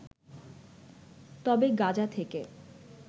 তবে গাজা থেকে